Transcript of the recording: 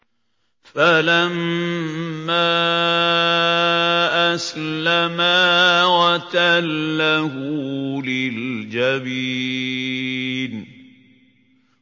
فَلَمَّا أَسْلَمَا وَتَلَّهُ لِلْجَبِينِ